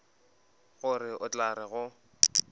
gore o tla re go